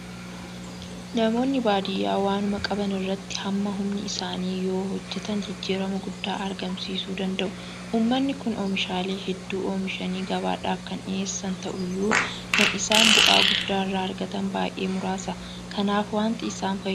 Namoonni baadiyyaa waanuma qaban irratti hamma humna isaanii yoohojjetan jijjiirama guddaa argamsiisuu danda'u. Uummanni kun oomishaalee hedduu oomishanii gabaadhaaf kan dhiyeessan ta'uyyuu kan isaan bu'aa guddaa irraa argatan baay'ee muraasa. Kanaaf waanta isaan fayyadu adda baafachuu qabu jechuudha.